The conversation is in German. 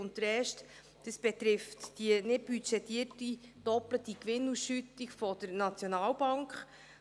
Der erste betrifft die nicht budgetierte doppelte Gewinnausschüttung der SNB: